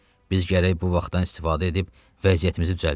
Biz gərək bu vaxtdan istifadə edib vəziyyətimizi düzəldək.